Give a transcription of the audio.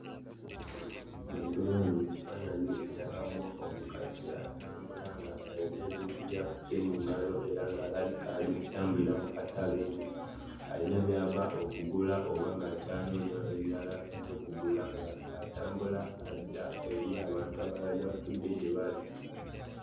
Bwe ntunula wano mu kifaananyi ndabamu omukazi atambula ng'ayina ebintu by'akutte mu ngalo era ng'alabika ali mu kutambulira mu katale ng'ayina by'ava okugula oba ng'akyanoonya ebirala eby'okugula ng'atambula adda eri abantu abalala gye batudde gye bali.